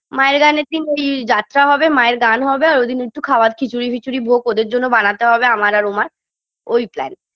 মায়ের গান এ তিন ওই যাত্রা হবে মায়ের গান হবে আর ওইদিন একটু খাওয়ার খিচুড়ি ফিচুরি ভোগ ওদের জন্য বানাতে হবে আমার আর উমার ওই plan